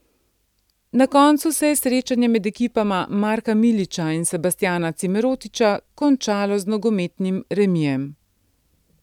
Na koncu se je srečanje med ekipama Marka Milića in Sebastjana Cimerotiča končalo z nogometnim remijem.